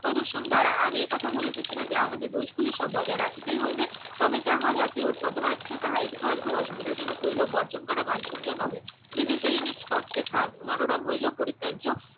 প্রদুশন দ্বারা আমি একথা বলিতেছিনা আমাদের দোষগুলো সব বজায় রাখিতেই হইবে তবে যাহা জাতি ও পদবাচ্য তাহা একটু আধটু অসুবিধা হইলেও বর্জন করা বাঞ্ছনীয় নহে বিদেশি জিনিস তৎপেক্ষা মনোরম হইলেও পরিত্যাজ্য